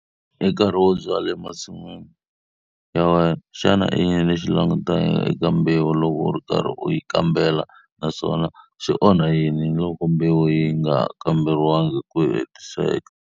I nkarhi wo byala emasin'wini ya wena. Xana i yini u swi langutelaka eka mbewu loko u karhi u yi kambela naswona swi onha yini loko mbewu yi nga kamberiwangi hi ku hetiseka?